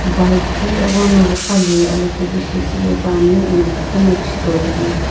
buld ghi eghono viigha le alokae bi shipaepani ano kaku no chitoi ane.